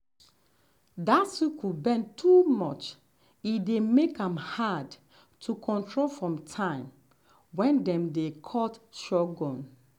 dat sickle bend too much e dey make am hard to control for time when dem dey cut sorghum.